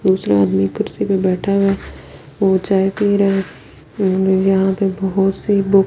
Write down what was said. दूसरे आदमी कुर्सी पे बैठा हुए है वो चाय पी रहा है उम यहाँ पे बहुत सी बुक्स --